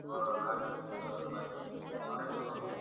ক~ কার্জ ক্ষমতার ব্যাপারে, অনেক ধন্যবাদ।